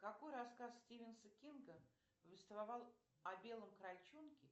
какой рассказ стивенса кинга повествовал о белом крольчонке